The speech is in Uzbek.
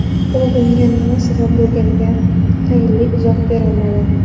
U bunga nima sabab bo‘lganiga tayinli izoh berolmadi.